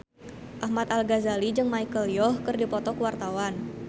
Ahmad Al-Ghazali jeung Michelle Yeoh keur dipoto ku wartawan